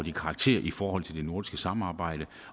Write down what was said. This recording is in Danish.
i karakter i forhold til det nordiske samarbejde